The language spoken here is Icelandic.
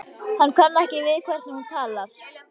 Hann kann ekki við hvernig hún talar.